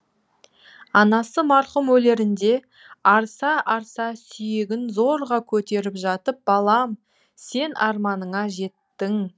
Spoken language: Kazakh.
анасы марқұм өлерінде арса арса сүйегін зорға көтеріп жатып балам сен арманыңа жеттің